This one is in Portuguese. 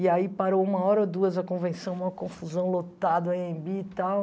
E aí parou uma hora ou duas a convenção, uma confusão lotada, a Anhembi e tal.